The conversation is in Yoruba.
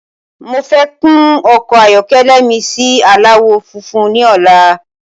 Mofẹ́ kún ọkọ ayọkẹlẹ mi si aláwọ̀ funfun ni ọ̀la